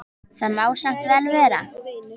Það má samt vel vera.